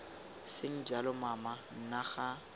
seng jalo mama nna ga